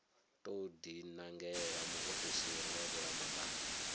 tou dinangela muofisiri wa vhulamukanyi